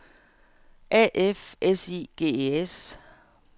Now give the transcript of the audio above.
A F S I G E S